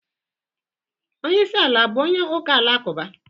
Onyeisi ala abụ onye ụka-alakụba?